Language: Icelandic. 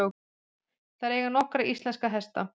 Þær eiga nokkra íslenska hesta.